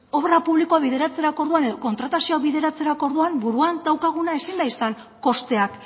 obra publikoa bideratzerako orduan edo kontratazioak bideratzerako orduan buruan daukaguna ezin da izan kosteak